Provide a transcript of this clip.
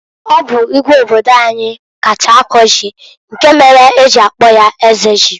Ọ bụ Igwe obodo anyị kacha akọ ji, nke mere e ji akpọ ya Eze Ji.